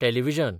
television